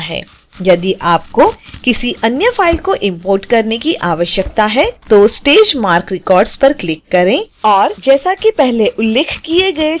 यदि आपको किसी अन्य फाइल को इंपोर्ट करने की आवश्यकता है तो stage marc records पर क्लिक करें और जैसा कि पहले उल्लेख किया गया चरणों का पालन करें